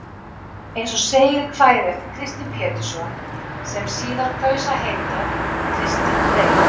Eins og segir í kvæði eftir Kristin Pétursson, sem síðar kaus að heita Kristinn Reyr.